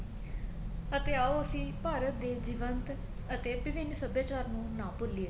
ਅਤੇ ਆਉ ਅਸੀਂ ਭਾਰਤ ਦੇ ਜੀਵੰਤ ਅਤੇ ਭਵੀਨ ਸਭਿਆਚਾਰ ਨੂੰ ਨਾ ਭੂਲੀਏ